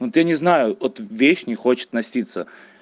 вот я не знаю вот вещь не хочет носиться